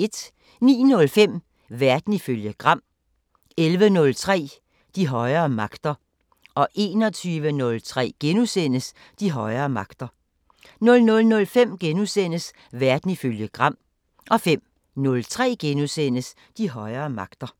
09:05: Verden ifølge Gram 11:03: De højere magter 21:03: De højere magter * 00:05: Verden ifølge Gram * 05:03: De højere magter *